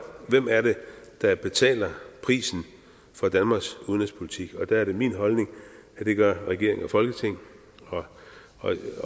hvem er det der betaler prisen for danmarks udenrigspolitik og der er det min holdning at det gør regeringen og folketinget